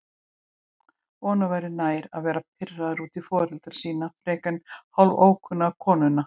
Honum væri nær að vera pirraður út í foreldra sína frekar en hálfókunnuga konuna.